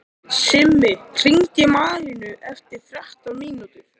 Simmi, hringdu í Malínu eftir þrettán mínútur.